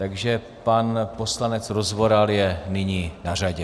Takže pan poslanec Rozvoral je nyní na řadě.